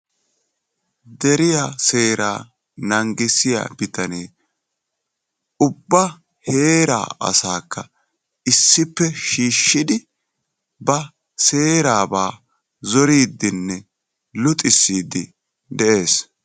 Deriya seera nanggissiya bittanee ubba heera asaakka issppe shiishshidi ba seeraba zoriiddinne luxissiiddi de'ees.